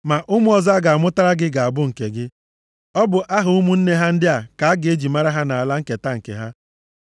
Ma ụmụ ọzọ a ga-amụtara gị ga-abụ nke gị. Ọ bụ aha ụmụnne ha ndị a ka a ga-eji mara ha nʼala nketa nke ha.